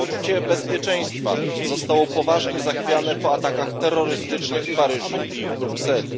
Poczucie bezpieczeństwa zostało poważnie zachwiane po atakach terrorystycznych w Paryżu i w Brukseli.